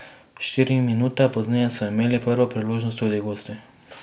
Štiri minute pozneje so imeli prvo priložnost tudi gosti.